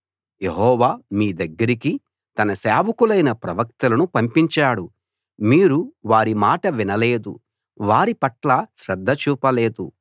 యెహోవా మీ దగ్గరికి తన సేవకులైన ప్రవక్తలను పంపించాడు మీరు వారి మాట వినలేదు వారిపట్ల శ్రద్ధ చూపలేదు